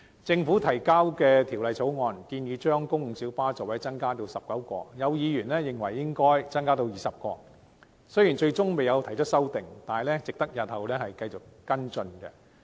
政府提交的《條例草案》建議把公共小巴座位增至19個，有議員認為應增至20個，雖然最終並未提出修正案，但這提議值得繼續跟進。